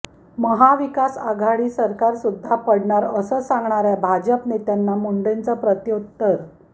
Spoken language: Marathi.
महाविकास आघाडी सरकार सुद्धा पडणार असं सांगणाऱ्या भाजप नेत्यांना मुडेंचं प्रतिउत्तर